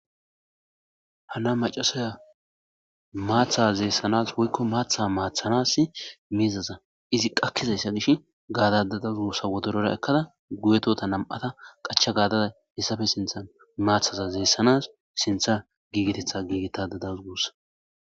hana macasaya maatha zeessanas woykko maatha maathanas miizaza izi qakkizayssa gish gaadadadazugussa wodorora ekkada guyetota nam7ata qacha gaadada hessafe sintha maathaza zeessanas sintha giigetetha giigetadadazugussa